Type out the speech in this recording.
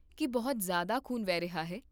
ਕੀ ਬਹੁਤ ਜ਼ਿਆਦਾ ਖ਼ੂਨ ਵਹਿ ਰਿਹਾ ਹੈ?